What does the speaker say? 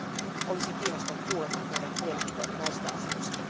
Niinpä olisin kiinnostunut kuulemaan teidän mielipiteenne näistä asioista.